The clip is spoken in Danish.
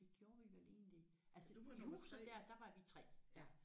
Det gjorde vi vel egentlig altså i huset der der var vi 3